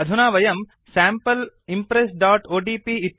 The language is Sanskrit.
अधुना वयं sample impressओडीपी